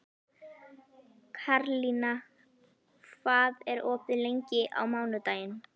Karlína, hvað er opið lengi á mánudaginn?